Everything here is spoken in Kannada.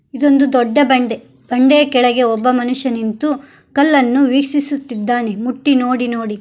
ಇದೊಂದು ದೊಡ್ಡ ಬಂಡೆ ಬಂಡೆಯ ಕೆಳಗೆ ಒಬ್ಬ ಮನುಷ್ಯ ನಿಂತು ಕಲ್ಲನ್ನು ವೀಕ್ಷಿಸುತ್ತಿದ್ದಾನೆ ಮುಟ್ಟಿ ನೋಡಿ ನೋಡಿ.